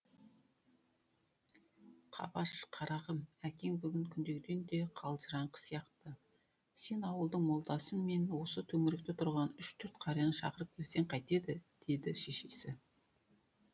қабаш қарағым әкең бүгін күндегіден де қалжыраңқы сияқты сен ауылдың молдасы мен осы төңіректе тұратын үш төрт қарияны шақырып келсең қайтеді деді шешесі